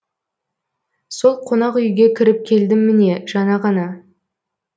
сол қонақ үйге кіріп келдім міне жаңа ғана